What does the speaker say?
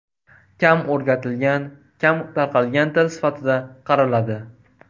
Kam o‘rgatilgan, kam tarqalgan til sifatida qaraladi.